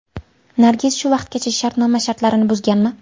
Nargiz shu vaqtgacha shartnoma shartlarini buzganmi?